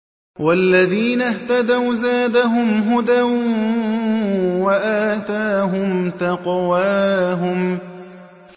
وَالَّذِينَ اهْتَدَوْا زَادَهُمْ هُدًى وَآتَاهُمْ تَقْوَاهُمْ